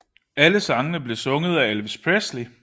Alle sangene blev sunget af Elvis Presley